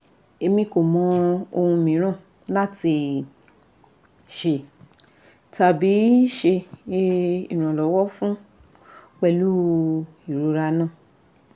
emi ko mọ ohun miiran lati ṣe tabi ṣe iranlọwọ fun pẹlu irora naa